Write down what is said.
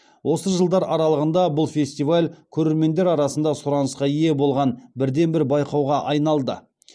осы жылдар аралығында бұл фестиваль көрермендер арасында сұранысқа ие болған бірден бір байқауға айналды